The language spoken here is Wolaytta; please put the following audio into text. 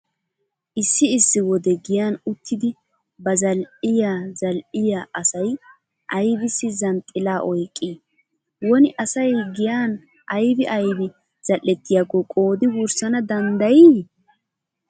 Issi issi wode giyan uttidi ba zal"iya zal"iya asay aybissi zanxxilaa oyqqii? Woni asay giyan aybi aybi zal"ettayakko qoodi wurssana danddayii?